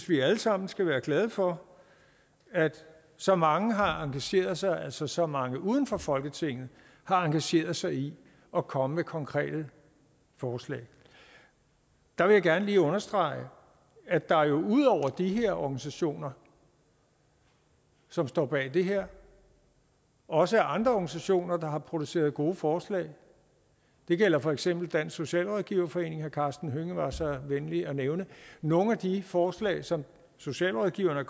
vi alle sammen skal være glade for at så mange har engageret sig altså at så mange uden for folketinget har engageret sig i at komme med konkrete forslag der vil jeg gerne lige understrege at der jo ud over de her organisationer som står bag det her også er andre organisationer der har produceret gode forslag det gælder for eksempel dansk socialrådgiverforening som herre karsten hønge var så venlig at nævne nogle af de forslag som socialrådgiverne